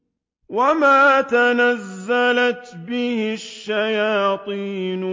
وَمَا تَنَزَّلَتْ بِهِ الشَّيَاطِينُ